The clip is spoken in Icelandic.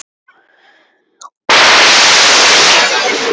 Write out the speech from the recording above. Andvaka gleður víst engra lund.